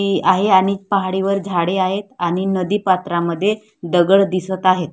हि आई आणि पहाडीवर झाडे आहेत आणि नदीपात्रामध्ये दगड दिसत आहेत.